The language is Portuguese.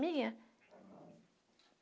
Minha?